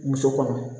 Muso kɔnɔ